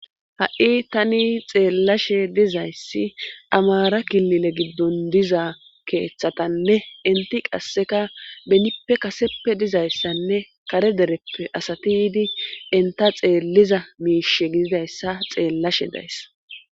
ha7i tani xeelashe dizayssi amaara kilile giddon diza keethatanne enthi qasseka benippe kaseppe dizayssanne kare dereppe asathi yiidi entha xeellida miishe gididayssa xeellashe days.